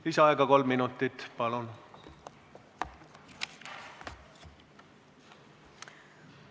Lisaaega kolm minutit, palun!